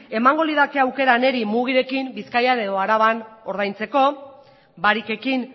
emango lirateke niri mugirekin bizkaia edo araban ordaintzeko barikekin